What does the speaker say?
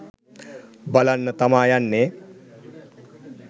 බලන්න තමා යන්නේ.